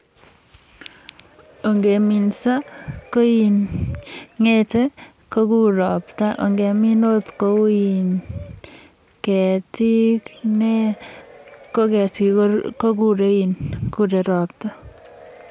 Ongeminso koin ng'etei kogur ropta. Ongemin akkt kou ketik, ki ketik kogurei ropta.